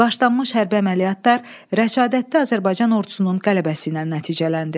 Başlanmış hərbi əməliyyatlar Rəşadətdi Azərbaycan ordusunun qələbəsi ilə nəticələndi.